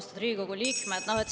Austatud Riigikogu liikmed!